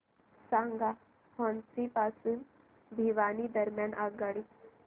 सांगा हान्सी पासून भिवानी दरम्यान आगगाडी